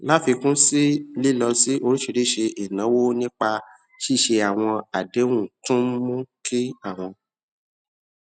láfikún sí i lílọ sí oríṣiríṣi ìnáwó nípa ṣíṣe àwọn àdéhùn tún ń mú kí àwọn